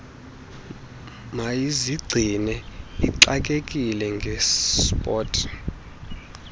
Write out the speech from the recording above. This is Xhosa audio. mayizigcine ixakekile ngesport